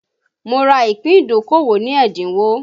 Mo ra ìpín ìdókòwò ní ẹ́dínwó